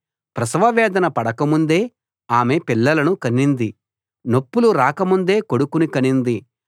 ప్రసవవేదన పడకముందే ఆమె పిల్లను కనింది నొప్పులు రాకముందే కొడుకును కనింది